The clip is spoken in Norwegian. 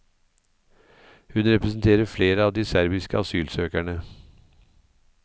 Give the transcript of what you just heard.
Hun representerer flere av de serbiske asylsøkerne.